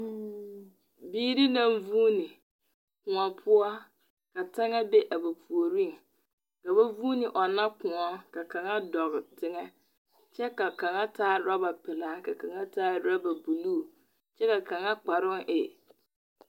Biiri naŋ vuoni kõɔ poɔ ka taŋa be a ba puoriŋ. Ka ba vuune ɔnna Kõɔ, ka kaŋa dɔge teŋɛ. kyɛ ka kaŋa taa raba pelaa ka kaŋa taa raba buluu. kyɛ ka kaŋa kparoo e.